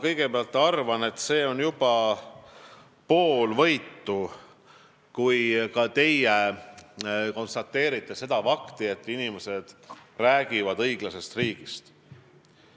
Kõigepealt ma arvan seda, et see on juba pool võitu, kui ka teie konstateerite fakti, et inimesed räägivad õiglasest riigist.